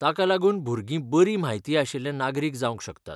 ताका लागून भुरगीं बरी म्हायती आशिल्ले नागरिक जावंक शकतात.